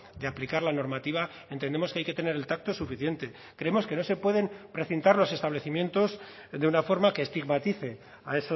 de aplicar la normativa entendemos que hay que tener el tacto suficiente creemos que no se pueden precintar los establecimientos de una forma que estigmatice a